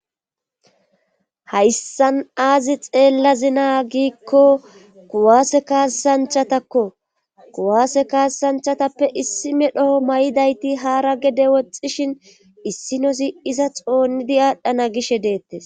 hayssan aazi xeella zinaa giikko kuwaase kaasanchatakko kuwaase kaassanchatappe issi medhoho may7idayti haara gede woxxishin issinosi iza xoonidi aadhdhana gishe deettes